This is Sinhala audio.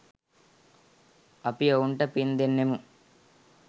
අපි ඔවුන්ට පින් දෙන්නෙමු.